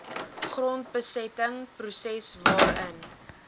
grondbesetting proses waarin